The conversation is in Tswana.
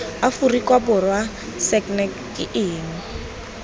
aforika borwa sagnc ke eng